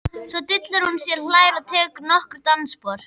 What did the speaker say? Svo dillar hún sér, hlær og tekur nokkur dansspor.